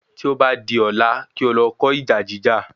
Tí o bá di ọ̀la, kí o lọ kó ìjà jíjà